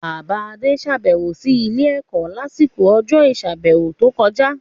Bàbá Adé sàbẹ̀wò sí ilé-ẹ̀kọ́ lásìkò ọjọ́ ìsàbẹ̀wò tó kọjá.